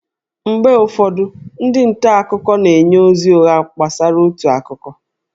Mgbe ụfọdụ, ndị nta akụkọ na-enye ozi ụgha gbasara otu akụkọ